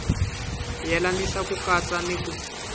yelanisa ku katsa ni ku